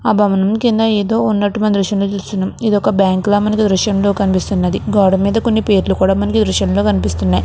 ఆ భవనం కింద ఎదో వుంటు మనం దృశ్యం లో చుస్తునాం. ఇది ఒక బంక్ ల మనకి దృశ్యం లో కనిపిస్తుంది. గోడ మీద కొన్నిపేర్లు కూడా మాంక్ దృశ్యం లో కనిపిస్తున్నాయి.